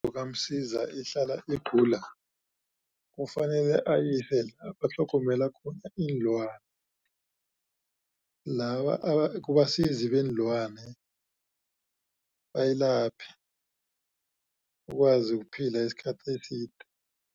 kaMsiza ihlala igula kufanele ayise la batlhogomela khona iinlwana laba kubasizi beenlwane bayilaphe ikwazi ukuphila isikhathi eside.